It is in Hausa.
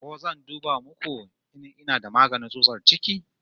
Ku zo zan duba muku in ina da magani tsutsar ciki